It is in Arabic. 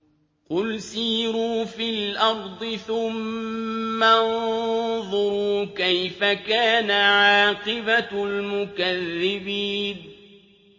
قُلْ سِيرُوا فِي الْأَرْضِ ثُمَّ انظُرُوا كَيْفَ كَانَ عَاقِبَةُ الْمُكَذِّبِينَ